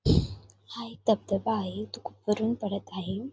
हा एक धबधबा आहे. वरून पडत आहे.